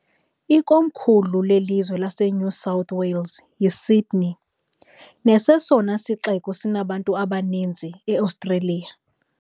Ikomkhulu lelizwe laseNew South Wales yiSydney, nesesona sixeko sinabantu abaninzi eOstreliya.